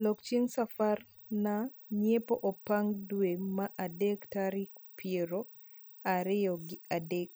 lok chieng safar nar nyiepo apange dwe mar adek taril pier ariyo gi adek